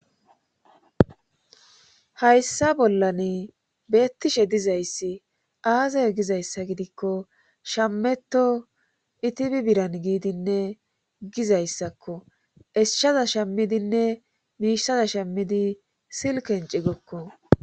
Hayssa bollan beettishe dizayssi aazay gizayssa gidikko shammeto itibi biran giidinne gizayssakko eshshaza shammidinne miishsaza shammidi silkenci gokko.